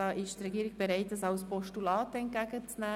Hier ist die Regierung bereit, diese als Postulat entgegenzunehmen.